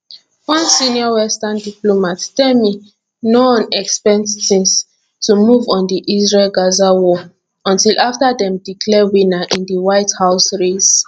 one senior western diplomat tell me noone expect tins to move on the israelgaza war until afta dem declare winner in di white house race